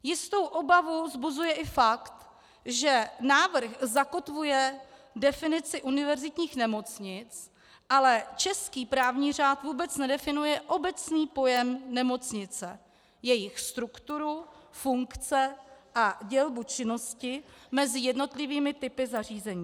Jistou obavu vzbuzuje i fakt, že návrh zakotvuje definici univerzitních nemocnic, ale český právní řád vůbec nedefinuje obecný pojem nemocnice, jejich strukturu, funkce a dělbu činnosti mezi jednotlivými typy zařízení.